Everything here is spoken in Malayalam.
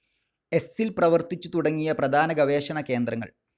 എസ്സിൽ പ്രവർത്തിച്ചു തുടങ്ങിയ പ്രധാന ഗവേഷണ കേന്ദ്രങ്ങൾ.